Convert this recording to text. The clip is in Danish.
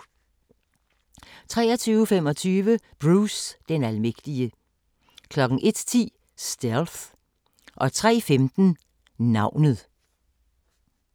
23:25: Bruce den almægtige 01:10: Stealth 03:15: Navnet